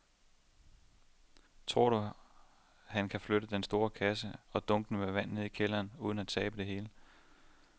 Tror du, at han kan flytte den store kasse og dunkene med vand ned i kælderen uden at tabe det hele?